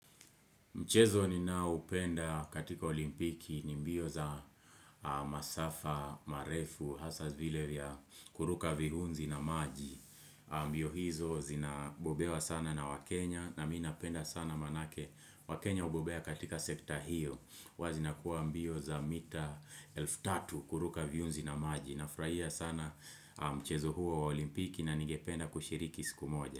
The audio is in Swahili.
Mchezo ninaupenda katika olimpiki ni mbio za masafa, marefu, hasa zile vya kuruka viunzi na maji. Mbio hizo zinabobewa sana na wakenya na minapenda sana manake wakenya hubobea katika sekta hiyo. Wazina kuwa mbio za mita elftatu kuruka viunzi na maji. Nafurahia sana mchezo huo olimpiki na nigependa kushiriki siku moja.